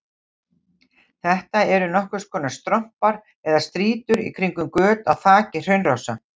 Þetta eru nokkurs konar strompar eða strýtur í kringum göt í þaki hraunrása.